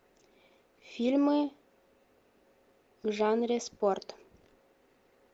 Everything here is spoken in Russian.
фильмы в жанре спорт